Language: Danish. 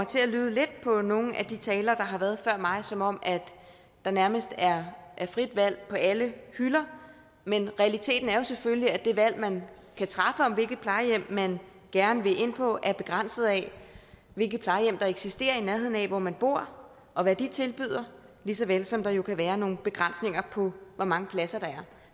til at lyde lidt på nogle af de talere der har været før mig som om der nærmest er frit valg på alle hylder men realiteten er jo selvfølgelig at det valg man kan træffe om hvilket plejehjem man gerne vil ind på er begrænset af hvilke plejehjem der eksisterer i nærheden af hvor man bor og hvad de tilbyder lige så vel som der jo kan være nogle begrænsninger på hvor mange pladser der er